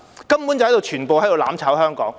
根本他們全部都是在"攬炒"香港。